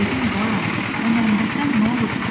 Dedim balam, o Məmdəsən nə olubdu?